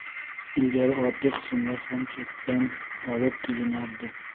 Ilgari oddiy qismlar ham chetdan olib kelinardi.